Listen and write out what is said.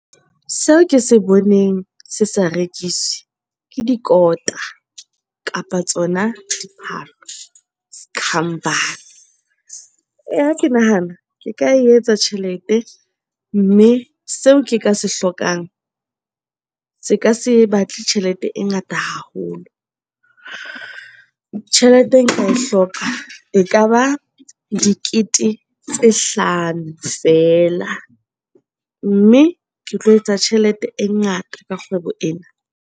Seo ke se boneng se sa rekiswe ke dikota kapa tsona diphahlo sekhambane. Eya, ha ke nahana ke ka etsa tjhelete mme seo ke ka se hlokang se ka se batle tjhelete e ngata haholo. Tjhelete e nka e hloka e kaba dikete tse hlano fela mme ke tlo etsa tjhelete e ngata ka kgwebo ena.